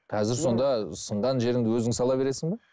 қазір сонда сынған жеріңді өзің сала бересің бе